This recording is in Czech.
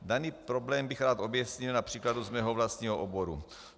Daný problém bych rád objasnil na příkladu ze svého vlastního oboru.